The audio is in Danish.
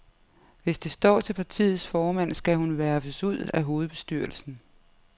Hvis det står til partiets formand, skal hun verfes ud af hovedbestyrelsen.